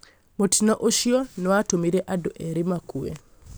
mũtĩno ũcĩo nĩ watũmire andũ erĩ makue